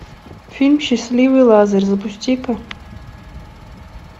фильм счастливый лазарь запусти ка